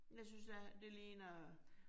Jeg synes det her det ligner